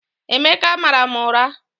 Emeka mara m ụra